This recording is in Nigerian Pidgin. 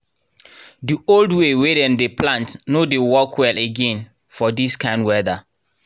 the old way wey dem dey plant nor dey work well again for this kind weather